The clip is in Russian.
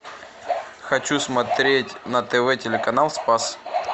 хочу смотреть на тв телеканал спас